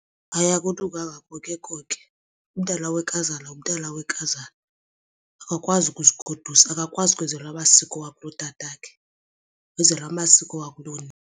Hayi akulunganga konke umntana wenkazana ngumntana wenkazana. Akakwazi ukuzigodusa, akakwazi ukwenzelwa amasiko akulotatakhe wenzelwa amasiko wakulonina.